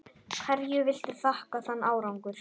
Hverju viltu þakka þann árangur?